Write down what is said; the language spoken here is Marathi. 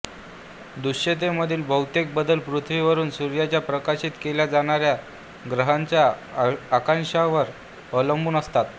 दृश्यतेमधील बहुतेक बदल पृथ्वीवरून सूर्याच्या प्रकाशित केल्या जाणाऱ्या ग्रहाच्या अक्षांशांवर अवलंबून असतात